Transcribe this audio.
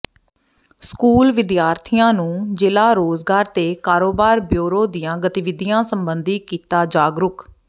school ਵਿਦਿਆਰਥੀਆਂ ਨੂੰ ਜ਼ਿਲ੍ਹਾ ਰੋਜ਼ਗਾਰ ਤੇ ਕਾਰੋਬਾਰ ਬਿਊਰੋ ਦੀਆਂ ਗਤੀਵਿਧੀਆਂ ਸਬੰਧੀ ਕੀਤਾ ਜਾਗਰੂਕ